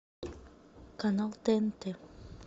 канал тнт